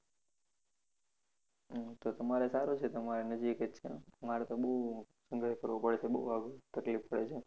હમ તો તમારે સારું છે તમારે નજીક જ છે અમારે તો બહુ સંગર્ષ કરવો પડે છે બહુ તકલીફ પડે છે